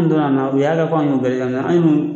An donna a mɛna u y'a kɛ kɔ an y'u bɛɛ an y'u